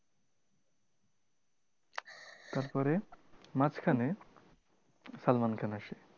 তারপরে মাঝখানে সালমান খান আসে।